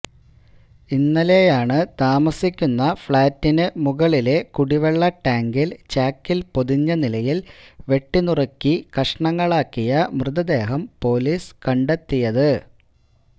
ഇന്നലെയാണ് താമസ്സിക്കുന്ന ഫ്ലാറ്റിനു മുകളിലെ കുടിവെള്ള ടാങ്കില് ചാക്കില് പൊതിഞ്ഞ നിലയില് വെട്ടിനുറുക്കി കഷ്ണങ്ങളാക്കിയ മതദേഹം പോലീസ് കണ്ടെത്തിയത്